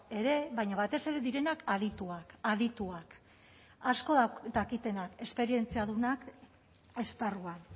ere baina batez ere direnak adituak adituak asko dakitenak esperientziadunak esparruan